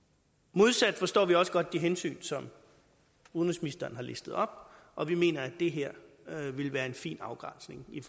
modsat forstår vi også godt de hensyn som udenrigsministeren har listet op og vi mener at det her vil være en fin afgrænsning i